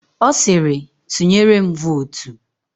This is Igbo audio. Ọ sịrị, "tụnyere m vootu"!